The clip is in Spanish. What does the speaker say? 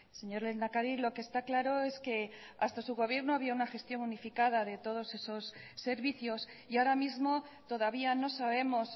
señor lehendakari lo que está claro es que hasta su gobierno había una gestión unificada de todos esos servicios y ahora mismo todavía no sabemos